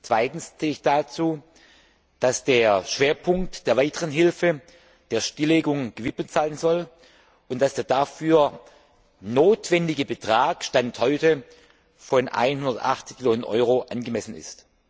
Zweitens zähle ich dazu, dass der Schwerpunkt der weiteren Hilfe der Stilllegung gewidmet werden soll und dass der dafür notwendige Betrag Stand heute von 180 Millionen Euro angemessen ist.